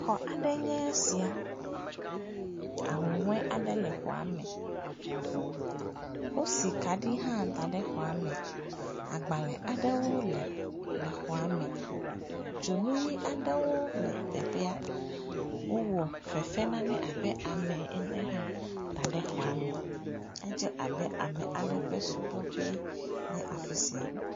Aƒe aɖee nye esia, kaɖi le xɔa me, ahuhɔe aɖe hã le xɔa me, wosi kaɖi hã da ɖe xɔa me, agbalẽ aɖewo le xɔa me, dzonu ʋɛ̃ aɖewo le teƒea, wowɔ fefe nane hã abe ame ene hã da ɖe xɔa me, edze abe ame aɖe ƒe subɔƒee nys afi sia.